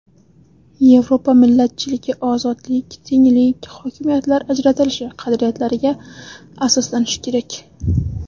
Yevropa millatchiligi ozodlik, tenglik, hokimiyatlar ajratilishi qadriyatlariga asoslanishi kerak.